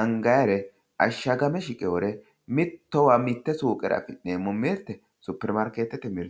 angannire ashagame shiqinore mittowa mite suqera affi'neemmo mirte superimaarketete mirte.